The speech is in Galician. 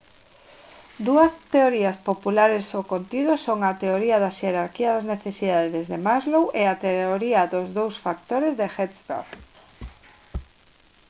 dúas teorías populares sobre o contido son a teoría da xerarquía das necesidades de maslow e a teoría dos dous factores de hertzberg